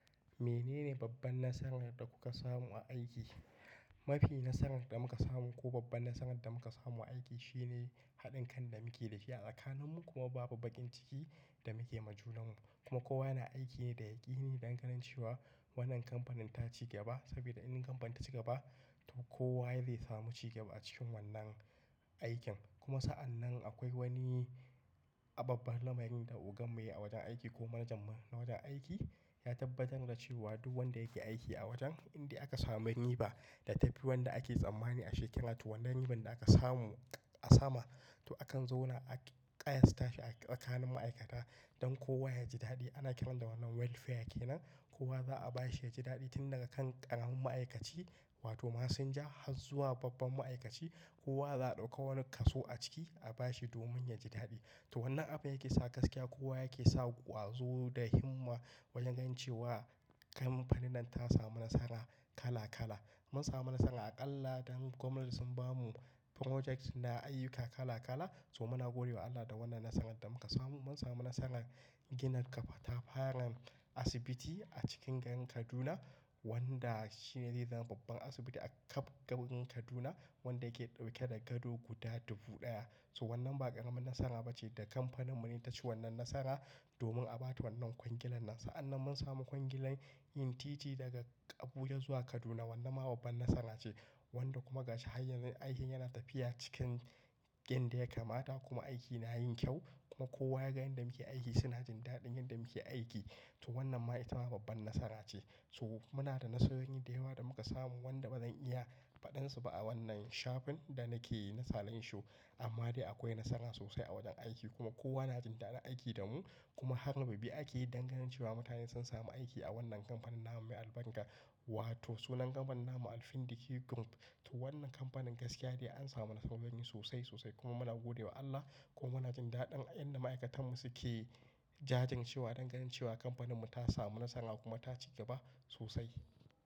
Menene babban nasarar da kuka samu a aiki? Mafi nasarar da muka samu ko babban nasarar da muka samu aiki shine haɗin kan da muke da shi a tsakaninmu kuma babu baƙin ciki da muke ma junan mu. Kuma kowa yana aiki ne da yaƙini dan ganin cewa wannan kamfanin ta ci gaba. Saboda in kamfan ta ci gaba, to kowa zai samu cigaba a cikin wannan aikin. Kuma sa'an nan akwai wani babbar lamari da ogan mu ya wajen aiki ko manajanmu na wajen aiki ya tabbatar da cewa duk wanda yake aiki a wajen in da aka samu riba da ta fi wanda ake tsammani a shekara, to wannan riban da aka samu a sama to akan zauna a ƙayasta shi a tsakanin ma'aikata don kowa ya ji daɗi. Ana kiran da wannan welfare ke nan. Kowa za'a bashi ya ji daɗi tun daga kan ƙananan ma'aikaci wato masinja har zuwa babban ma'aikaci. Kowa za'a ɗauko wani kaso a ciki a bashi domin ya ji daɗi. To wannan abu yake sa gaskiya kowa yake sa ƙwazo da himma wajen cewa kamfanin nan ta samu nasara kala kala. Mun samu nasara aƙalla dan gwamnati sun bamu project da ayyuka kala kala. So muna gode wa Allah da wannan nasarar da muka samu. Mun samu nasarar gina katafaren asibiti a cikin garin Kaduna wanda shi ne zai zama babban asibiti a kab garin Kaduna wanda yake ɗauke da gado guda dubu ɗaya. So wannan ba ƙaramin nasara bace da kamfaninmu ne taci wannan nasara domin a bata wannan kwangilar nan. Sa'an nan mun samu kwangilar yin titi daga Abuja zuwa Kaduna. Wannan ma babban nasara ce wanda kuma gashi hanyar aikin yana tafiya cikin yanda ya kamata kuma aiki na yin kyau kuma kowa ya ga yanda muke aiki suna jin daɗin yanda muke aiki. To wannan ma ita ma babban nasara ce. So muna da nasarorin da yawa da muka samu wanda bazan iya faɗan su ba a wannan shafin da nake yi na salanshow. Amma dai akwai nasara sosai a wajen aiki kuma kowa na jin daɗin aiki da mu. Kuma har rububi ake yi danganin cewa mutane sun samu aiki a wannan kamfanin namu mai albarka wato sunan kamfanin Namu Alfindiqi Group. To wannan kamfanin gaskiya ne an samu nasarorin sosai sosai kuma muna gode wa Allah kuma muna jin daɗin a yadda ma'aikatanmu suke jajircewa danganin cewa kamfaninmu ta samu nasara kuma ta ci gaba sosai.